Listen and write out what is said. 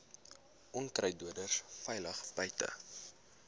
onkruiddoders veilig buite